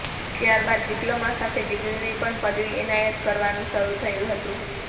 ત્યારબાદ ડિપ્લોમા સાથે ડિગ્રીની પણ પદવી એનાયત કરવાનું શરૂ થયું હતું